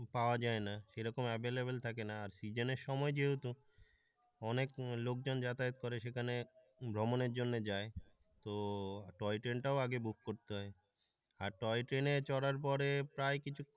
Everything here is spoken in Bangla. পাওয়া যায় না এরকম available থাকে না আর সিজনের সময় যেহেতু অনেক লোকজন যাতায়াত করে সেখানে ভ্রমণের জন্য যায় তো টয় ট্রেনটাও আগে বুক করতে হয় আর টয় ট্রেনে চড়ার পরে প্রায় কিছুক্ষণ।